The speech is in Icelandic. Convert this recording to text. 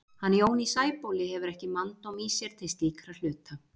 Hann Jón í Sæbóli hefur ekki manndóm í sér til slíkra hluta.